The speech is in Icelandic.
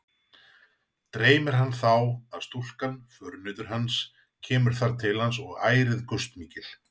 Dreymir hann þá, að stúlkan, förunautur hans, kemur þar til hans og ærið gustmikil.